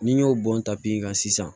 N'i y'o bɔn tapi ka sisan